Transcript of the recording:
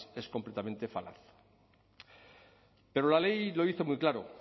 es completamente falaz pero la ley lo dice muy claro